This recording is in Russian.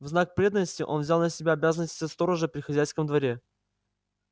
в знак преданности он взял на себя обязанности сторожа при хозяйском дворе